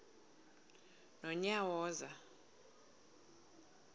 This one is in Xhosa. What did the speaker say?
nonyawoza